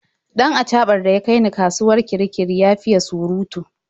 Dan achaɓan da ya kai ni kasuwar Kirikiri ya fiye surutu.